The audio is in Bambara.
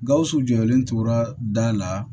Gawusu jɔlen tora da la